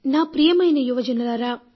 నా ప్రియమైన యువజనులారా